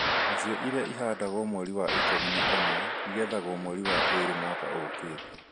Nacio iria ihandagwo mweri wa ikũmi na ũmwe igethagwo mweri wa ĩrĩ mwaka ũkĩte